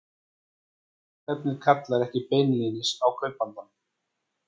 Og dulnefnið kallar ekki beinlínis á kaupandann.